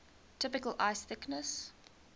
typical ice thickness